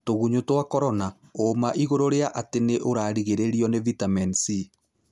tũgunyũtwa Korona. ũma igũrũrĩa atĩ nĩ ũrarigĩrĩrio nĩ vĩtamini C.